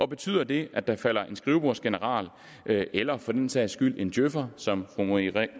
betyder det at der falder en skrivebordsgeneral eller for den sags skyld en djøfer som fru marie